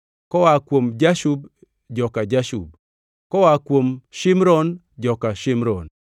koa kuom Jashub, joka Jashub; koa kuom Shimron, joka Shimron.